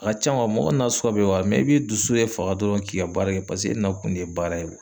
A ka can mɔgɔ nasuguya bɛɛ b'a la i b'i dusu de faga dɔrɔn k'i ka baara kɛ. Paseke e na kun de ye baara ye